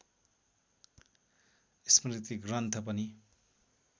स्मृतिग्रन्थ पनि